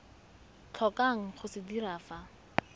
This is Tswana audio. tlhokang go se dira fa